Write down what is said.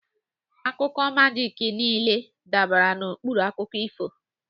Akụkọ majiki niile dara n'okpuru akụkọ ifo.